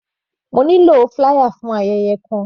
Mo nílò flier for ayẹyẹ kan.